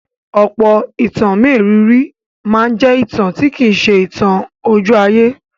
Ọ̀pọ̀ ìtàn mérìíìírì máa ń jẹ́ ìtàn tí kì í ṣe ìtàn ojú-ayé.